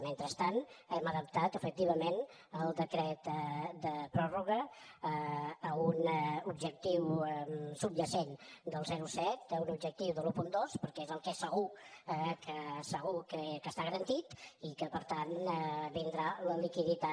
mentrestant hem adaptat efectivament el decret de pròrroga a un objectiu subjacent del zero coma set a un objectiu de l’un coma dos perquè és el que és segur que segur que està garantit i que per tant vindrà la liquiditat